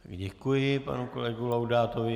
Děkuji panu kolegovi Laudátovi.